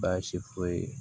Baasi foyi ye